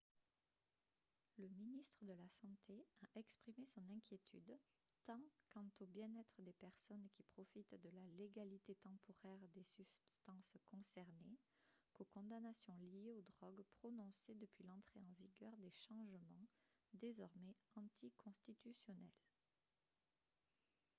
le ministre de la santé a exprimé son inquiétude tant quant au bien-être des personnes qui profitent de la légalité temporaire des substances concernées qu'aux condamnations liées aux drogues prononcées depuis l'entrée en vigueur des changements désormais anticonstitutionnels